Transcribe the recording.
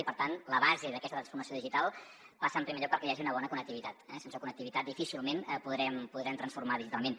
i per tant la base d’aquesta transformació digital passa en primer lloc perquè hi hagi una bona connectivitat eh sense connectivitat difícilment podrem transformar digitalment